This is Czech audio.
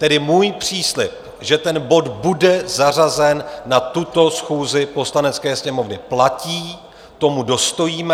Tedy můj příslib, že ten bod bude zařazen na tuto schůzi Poslanecké sněmovny, platí, tomu dostojíme.